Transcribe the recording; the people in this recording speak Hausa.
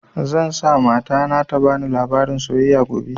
Zan sa mata na ta bani labarin soyayya gobe